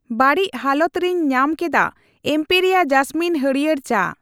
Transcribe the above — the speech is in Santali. ᱵᱟᱹᱲᱤᱪ ᱦᱟᱞᱚᱛ ᱨᱮᱧ ᱧᱟᱢᱠᱮᱫᱟ ᱮᱢᱯᱮᱨᱤᱭᱟ ᱡᱟᱥᱢᱤᱱ ᱦᱟᱲᱭᱟᱹᱨ ᱪᱟ᱾